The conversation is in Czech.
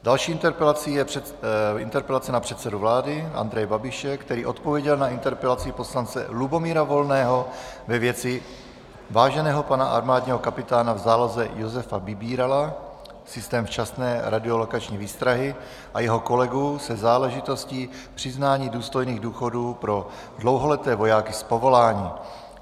Další interpelací je interpelace na předsedu vlády Andreje Babiše, který odpověděl na interpelaci poslance Lubomíra Volného ve věci váženého pana armádního kapitána v záloze Josefa Vybírala, systém včasné radiolokační výstrahy, a jeho kolegů se záležitostí přiznání důstojných důchodů pro dlouholeté vojáky z povolání.